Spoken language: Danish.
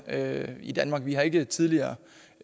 her i danmark vi har ikke tidligere